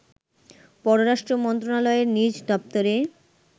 পররাষ্ট্র মন্ত্রণালয়ের নিজ দপ্তরে